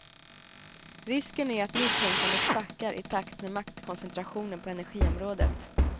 Risken är att nytänkandet sackar i takt med maktkoncentrationen på energiområdet.